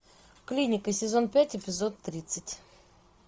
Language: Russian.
клиника сезон пять эпизод тридцать